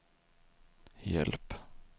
hjälp